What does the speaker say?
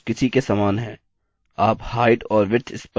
अतः यहाँ image source image source किसी के समान है